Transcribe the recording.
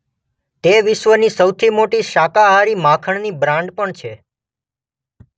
તે વિશ્વની સૌથી મોટી શાકાહારી માખણની બ્રાન્ડ પણ છે.